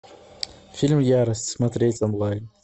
фильм ярость смотреть онлайн